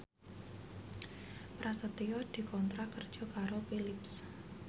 Prasetyo dikontrak kerja karo Philips